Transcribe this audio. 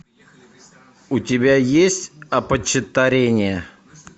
у тебя есть опочтарение